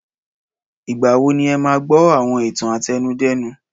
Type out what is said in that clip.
Ìgbà wo ni ẹ máa gbọ́ àwọn ìtàn àtẹnudẹ́nu?